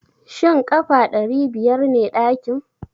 Shin ƙafa ɗari biyar ne ɗakin?